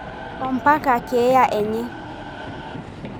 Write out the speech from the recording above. (Kernicterus) ompaka keyaa enyee.